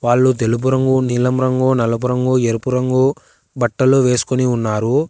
వాళ్లు తెలుపు రంగు నీలం రంగు నలుపు రంగు ఎరుపు రంగు బట్టలు వేసుకుని ఉన్నారు.